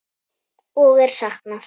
Og er saknað.